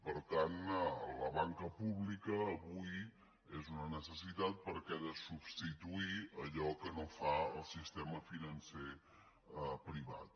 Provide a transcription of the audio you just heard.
per tant la banca pública avui és una necessitat perquè ha de substituir allò que no fa el sistema financer privat